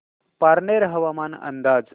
पारनेर हवामान अंदाज